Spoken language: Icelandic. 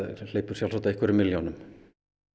hleypur sjálfsagt á einhverjum milljónum